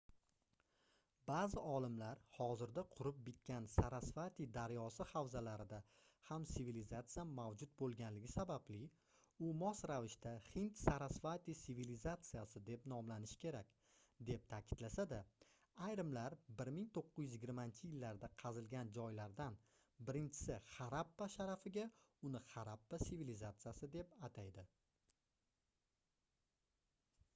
baʼzi olimlar hozirda qurib bitgan sarasvati daryosi havzalarida ham sivilizatsiya mavjud boʻlganligi sababli u mos ravishda hind-sarasvati sivilizatsiyasi deb nomlanishi kerak deb taʼkidlasa-da ayrimlar 1920-yillarda qazilgan joylardan birinchisi harappa sharafiga uni harappa sivilizatsiyasi deb ataydi